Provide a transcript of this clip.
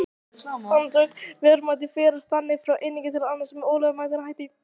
Verðmætin færast þannig frá einum til annars með ólögmætum hætti.